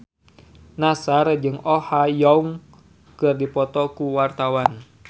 Nassar jeung Oh Ha Young keur dipoto ku wartawan